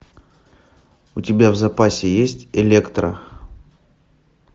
у тебя в запасе есть электра